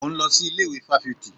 Mò ń lọ sí ilé ìwé fáfitì